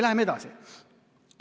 Läheme edasi.